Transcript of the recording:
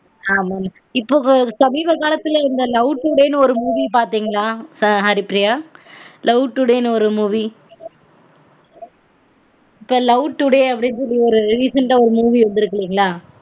இப்ப சமீப காலத்துல இந்த love today நு ஒரு movie பாத்தீங்களா ஹரிப்ரியா love today நு ஒரு movielove today அப்டினு ஒரு recent ஒரு movie வந்துருக்கு இல்லீங்கலா